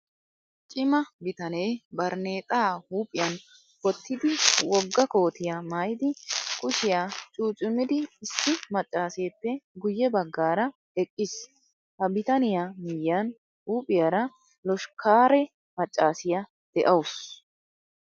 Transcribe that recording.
Cima bitanee barneexaa huuphiyan wottidi wogga kootiyaa maayidi kushiyaa cucumidi issi maccaaseeppe guyye baggaara eqqiis. Ha bitaniyaa miyyiyan huuphiyaara loshkkaare maccaasiyaa de'awus.